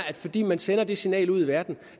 fordi man sender det signal ud i verden